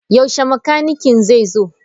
Yaushe makanikin zai zo?